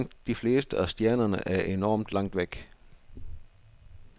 Langt de fleste af stjernerne er enormt langt væk.